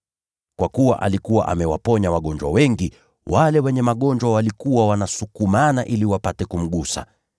Kwa kuwa alikuwa amewaponya wagonjwa wengi, wale wenye magonjwa walikuwa wanasukumana ili wapate kumgusa.